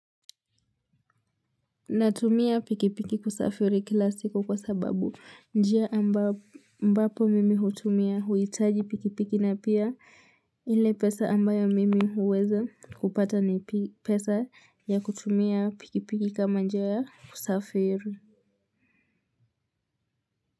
Natumia pikipiki kusafiri kila siku kwa sababu njia ambapo mimi hutumia huitaji pikipiki na pia ile pesa ambayo mimi uweza kupata ni pesa ya kutumia pikipiki kama njia ya kusafiri.